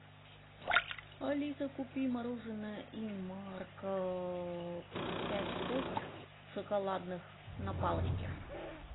алиса купи мороженое инмарко пять штук шоколадных на палочке